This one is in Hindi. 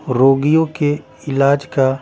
रोगियों के इलाज का--